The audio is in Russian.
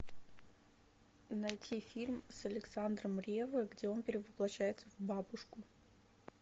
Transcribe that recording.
найти фильм с александром реввой где он перевоплащается в бабушку